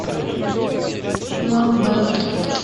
план б